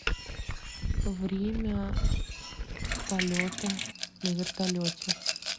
время полета на вертолете